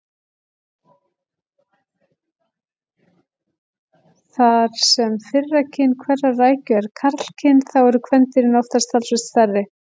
Þar sem fyrra kyn hverrar rækju er karlkyn þá eru kvendýrin oftast talsvert stærri.